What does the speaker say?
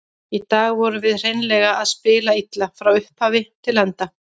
Í dag vorum við hreinlega að spila illa, frá upphafi til enda.